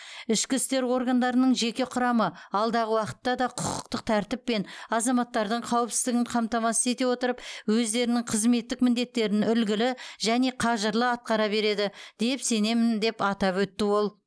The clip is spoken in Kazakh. ішкі істер органдарының жеке құрамы алдағы уақытта да құқықтық тәртіп пен азаматтардың қауіпсіздігін қамтамасыз ете отырып өздерінің қызметтік міндеттерін үлгілі және қажырлы атқара береді деп сенемін атап өтті ол